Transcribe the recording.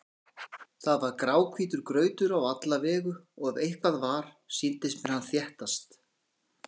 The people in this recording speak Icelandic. Það var gráhvítur grautur á alla vegu og ef eitthvað var, sýndist mér hann þéttast.